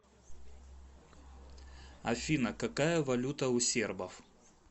афина какая валюта у сербов